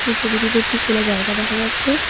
ছবিটিতে একটি খোলা জায়গা দেখা যাচ্ছে।